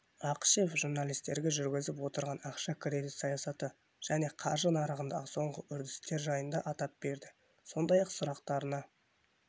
ақышев журналистерге жүргізіп отырған ақша-кредит саясаты және қаржы нарығындағы соңғы үрдістер жайында айтып берді сондай-ақ сұрақтарына